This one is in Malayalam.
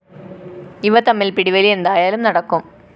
ഇവ തമ്മില്‍ പിടിവലി എന്തായാലും നടക്കും